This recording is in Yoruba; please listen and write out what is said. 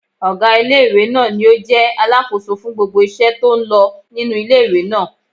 Ọgá ilé-ìwé náà ní o jẹ́ alákóso fún gbogbo iṣẹ́ tó n lọ nínu ilé-ìwé náà